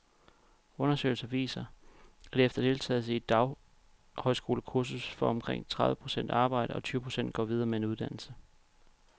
Undersøgelser viser, at efter deltagelse i et daghøjskolekursus får omkring tredive procent arbejde, og tyve procent går videre med en uddannelse.